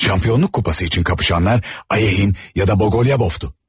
Şampionluk kupası üçün kapışanlar Ayeyin ya da Bogolyabovdu.